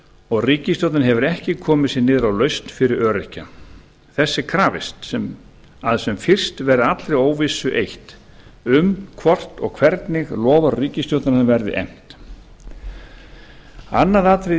og ríkisstjórnin hefur ekki komið sér niður á lausn fyrir öryrkja þess er krafist að sem fyrst verði allri óvissu eytt um hvort og hvernig loforð ríkisstjórnarinnar verði efnt annað atriði í